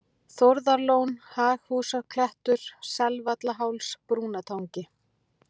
Þórðarlón, Haghúsklettur, Selsvallaháls, Brúnatangi